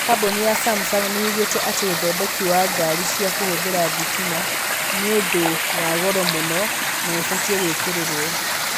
Kambuni ya camucung' nĩ yugĩte atĩ ũthondeki wa ngari cia kũhũthĩra thitima nĩ ũndũwa goro mũno na ũbatiĩ gwĩkĩrĩrwo.